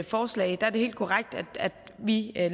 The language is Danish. forslag er det helt korrekt at vi